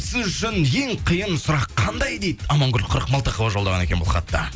сіз үшін ең қиын сұрақ қандай дейді амангүл қырықмылтықова жолдаған екен бұл хатты